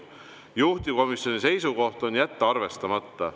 Juhtivkomisjoni seisukoht: jätta arvestamata.